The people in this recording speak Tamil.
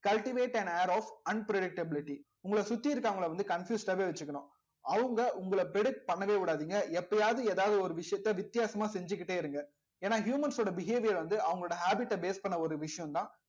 cultivate and air of unpredictability உங்களை சுத்தி இருக்கிறவங்களை வந்து confused ஆவே வச்சுக்கணும் அவங்க உங்களை predict பண்ணவே விடாதீங்க எப்பயாவது ஏதாவது ஒரு விஷயத்த வித்தியாசமா செஞ்சுகிட்டே இருங்க ஏன்னா humans ஓட behavior வந்து அவங்களோட habit ஐ base பண்ண ஒரு விஷயம்தான்